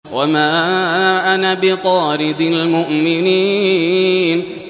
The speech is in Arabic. وَمَا أَنَا بِطَارِدِ الْمُؤْمِنِينَ